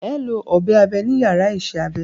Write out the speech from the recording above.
Ẹ ó lọ ọ̀bẹ abe ní yàrá isẹ́ abẹ